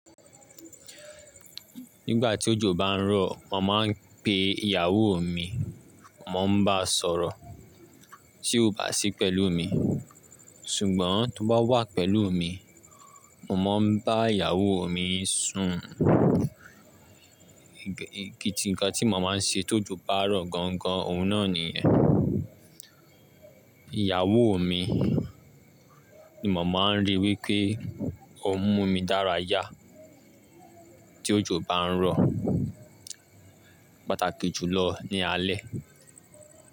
Nígbà tí òjò bá ń rọ̀, mo máa ń pe ìyàwó mi, mo ń bá a sọ̀rọ̀. Bá sì pẹ̀lú mi, ṣùgbọ́n tó bá wà pẹ̀lú mi, mo máa ń bá ìyàwó mi sùn. Igi ti ǹkan tí mo má ń ṣe tó ojo bá n ro gan gan, òun náà nìyẹn. Ìyàwó mi ni mo máa ń rí wí pé ó mú mi dára yá tí òjò bá ń rọ̀, pàtàkì jùlọ ní alẹ́.